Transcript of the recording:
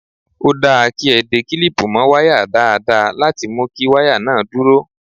Ó dáa kí a de kílípù mọ́ wáyà dáadáa láti mu kí wáyà náà dúró.